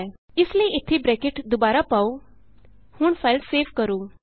ਇਸ ਲਈ ਇਥੇ ਬਰੈਕਟ ਦੁਬਾਰਾ ਪਾਉ ਹੁਣ ਫਾਈਲ ਸੇਵ ਕਰੋ